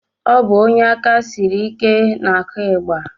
Ọ bụ onye aka siri ike na-akụ ịgba